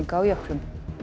á jöklum